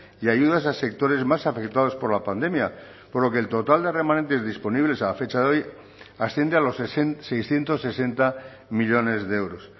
y ayudas a sectores más afectados por la pandemia por lo que el total de remanentes disponibles a fecha de hoy asciende a los seiscientos sesenta millónes de euros